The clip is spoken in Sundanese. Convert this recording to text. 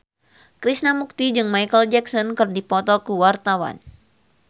Krishna Mukti jeung Micheal Jackson keur dipoto ku wartawan